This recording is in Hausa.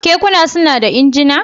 Kekuna suna da injina?